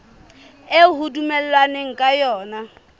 eo ho dumellanweng ka yona